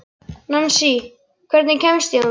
Nansý, hvernig kemst ég þangað?